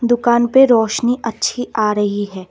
दुकान पे रोशनी अच्छी आ रही है।